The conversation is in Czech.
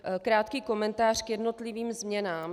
Krátký komentář k jednotlivým změnám.